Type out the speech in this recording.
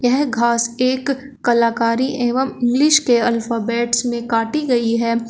यह घास एक कलाकारी एवं इंग्लिश के अल्फाबेट्स में काटी गई है।